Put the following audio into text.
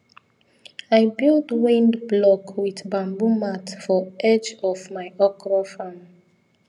i build wind block with bamboo mat for edge of my okra farm